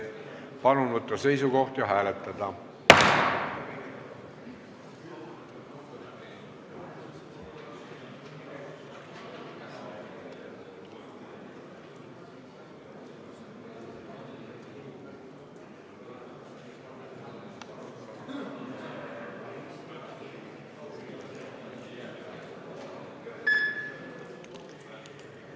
Palun võtta seisukoht ja hääletada!